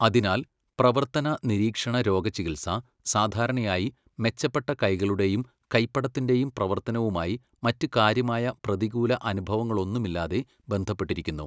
അതിനാൽ, പ്രവർത്തന നിരീക്ഷണ രോഗചികിത്സ സാധാരണയായി മെച്ചപ്പെട്ട കൈകളുടെയും കൈപ്പടത്തിന്റെയും പ്രവർത്തനവുമായി മറ്റ് കാര്യമായ പ്രതികൂല അനുഭവങ്ങളൊന്നുമില്ലാതെ ബന്ധപ്പെട്ടിരിക്കുന്നു.